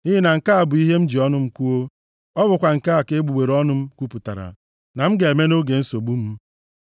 nʼihi na nke a bụ ihe m ji ọnụ m kwuo, ọ bụkwa nke a ka egbugbere ọnụ m kwupụtara na m ga-eme nʼoge nsogbu m.